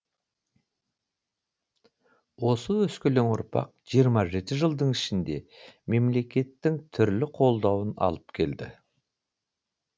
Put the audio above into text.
осы өскелең ұрпақ жиырма жеті жылдың ішінде мемлекеттің түрлі қолдауын алып келді